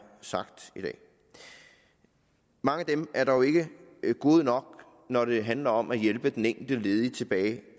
sagt i dag mange af dem er dog ikke gode nok når det handler om at hjælpe den enkelte ledige tilbage